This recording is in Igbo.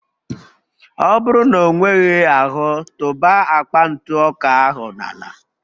Ọ bụrụ na ọ nweghị ahụ, tụba akpa ntụ ọka ahụ n'ala